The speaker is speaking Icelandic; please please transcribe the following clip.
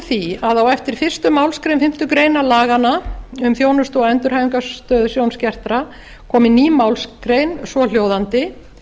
því að á eftir fyrstu málsgrein fimmtu grein laganna um þjónustu og endurhæfingarstöð sjónskertra komi ný málsgrein svohljóðandi